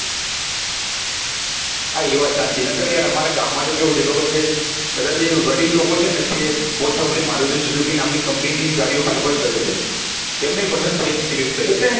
હા એ વાત સાચી ના કેર યાર અમારા ગામ તો માં કેવું છે ખબર છે બધા જે વડીલ લોકો છે ને તે mostofly maruti suzuki નામ ની company ની જ ગાડીઓ prefer કરે છે તેમને ભી પસંદ છે